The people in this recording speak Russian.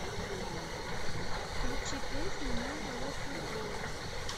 включи песню нэвэ лэт ю гоу